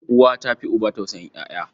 Uwa ta fi uba tausayin ƴaƴa.